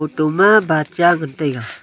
photo ma bat cha ngan taiga.